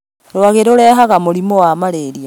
Rũagĩ rũrehaga mũrimũwa Mararia